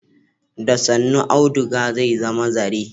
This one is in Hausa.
Da sannu auduga zai zama zare.